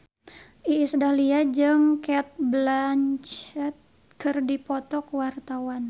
Iis Dahlia jeung Cate Blanchett keur dipoto ku wartawan